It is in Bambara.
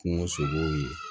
Kungo sogow ye